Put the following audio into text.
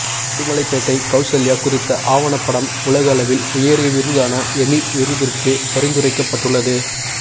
உடுமலைப் பேட்டை கவுசல்யா குறித்த ஆவணபடம் உலக அளவில் உயரிய விருதான எமி விருதிற்கு பரிந்துரைக்கப்பட்டுள்ளது